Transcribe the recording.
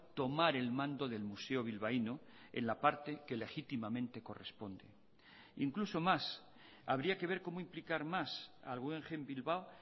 tomar el mando del museo bilbaíno en la parte que legítimamente corresponde incluso más habría que ver cómo implicar más al guggenheim bilbao